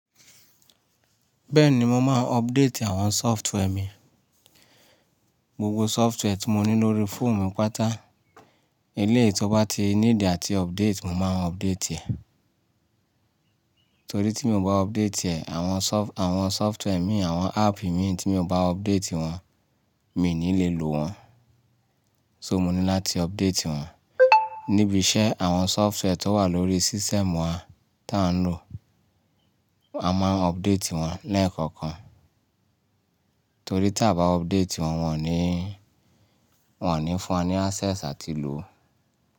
Bẹ́ẹ̀ni, mo máa ń update àwọn software mi. Gbogbo software tí mo ní lórí fóònù mi páta, eléyìí tí ó bá ti níìdì àti update, mo máa ń update ẹ̀. Torí tí mi ò bá update ẹ̀, àwọn soft- àwọn software míì, àwọn app ìmíì tí mi ò bá update wọn, mi ò ní lè lo wọn. So mo ní láti update wọn níbi iṣẹ́ àwọn software tó wà lórí system wa tí à ń lò, a máa ń update wọn lẹ́ẹ̀kọ̀kan. Torí tí a bá update wọn, wọ́n ò níí, wọ́n ò ní fún wa ní access àti lòó.